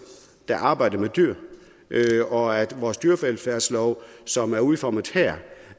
der arbejder med dyr og vores dyrevelfærdslov som er udformet her